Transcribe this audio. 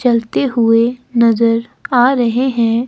चलते हुए नजर आ रहे हैं।